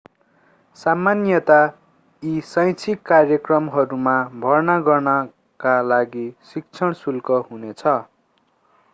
सामान्यतयाः यी शैक्षिक कार्यक्रमहरूमा भर्ना गर्नका लागि शिक्षण शुल्क हुनेछ